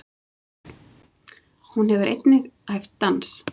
Hún hefur einnig æft dans.